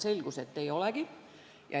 Selgus, et ei olegi.